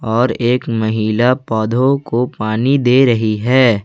और एक महिला पौधों को पानी दे रही है।